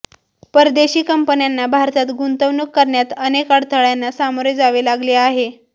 परदेशी कंपन्यांना भारतात गुंतवणूक करण्यात अनेक अडथळ्यांना सामोरे जावे लागले आहे